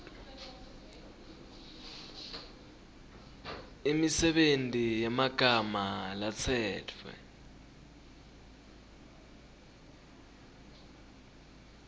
imisebenti yemagama latsetfwe